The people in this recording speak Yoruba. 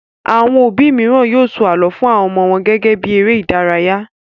Àwọn òbí mìíràn yóò sọ àlọ́ fun àwọn ọmọ wọn gẹ́gẹ́ bí eré-idárayá.